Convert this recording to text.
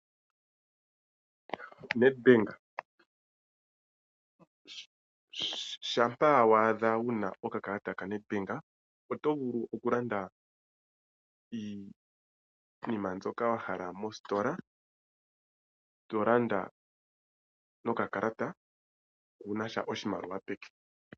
Shampa wa adha wu na okakalata ka NedBank oto vulu okulanda iinima mbyoka wa hala mositola, to landa nokakalata waa na oshimaliwa peke.